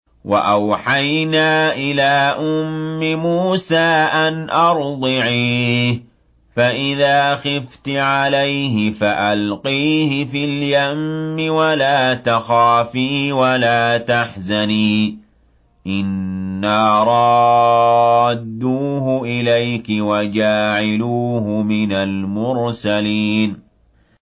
وَأَوْحَيْنَا إِلَىٰ أُمِّ مُوسَىٰ أَنْ أَرْضِعِيهِ ۖ فَإِذَا خِفْتِ عَلَيْهِ فَأَلْقِيهِ فِي الْيَمِّ وَلَا تَخَافِي وَلَا تَحْزَنِي ۖ إِنَّا رَادُّوهُ إِلَيْكِ وَجَاعِلُوهُ مِنَ الْمُرْسَلِينَ